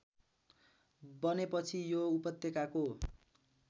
बनेपछि यो उपत्यकाको